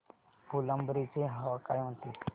फुलंब्री ची हवा काय म्हणते